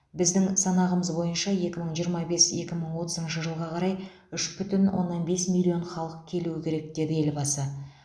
біздің санағымыз бойынша екі мың жиырма бес екі мың жиырма отызыншы жылға қарай үш бітін оннан бес миллион халық келуі керек деді елбасы